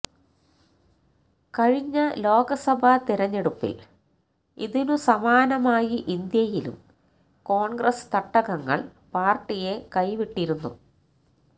കഴിഞ്ഞ ലോകസഭ തിരഞ്ഞെടുപ്പിൽ ഇതിനു സമാനമായി ഇന്ത്യയിലും കോൺഗ്രസ്സ് തട്ടകങ്ങൾ പാർട്ടിയെ കൈവിട്ടിരുന്നു